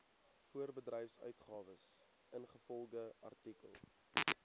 voorbedryfsuitgawes ingevolge artikel